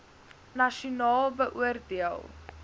nasionaal beoor deel